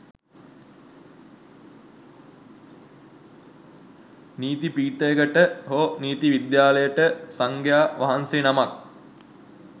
නීති පීඨයකට හෝ නීති විද්‍යාලයට සංඝයා වහන්සේ නමක්